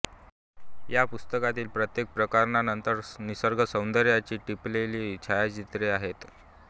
या पुस्तकातील प्रत्येक प्रकरणानंतर निसर्गसौंदर्याची टिपलेली छायाचित्रे आहेत